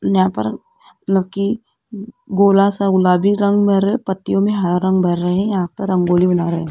न्यापर नकि गोला सा गुलाबी रंग भर पत्तियों में हरा रंग भर रहे है यहां पर रंगोली बना रहे।